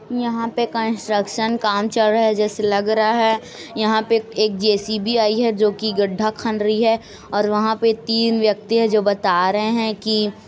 यहाँ पे कंस्ट्रक्शन काम चल रहा है जैसे लग रहा है यहाँ पे एक जे_सी_बी आयी है जो कि गड्ढा खन रही है और वहां पे तीन व्यक्ति है जो बता रहे हैं कि--